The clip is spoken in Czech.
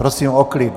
Prosím o klid.